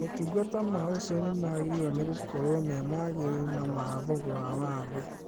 Motungata ma ũciari nĩmagĩrĩirwo nĩgũkorwo me magĩrĩru na ma thogora wa thĩ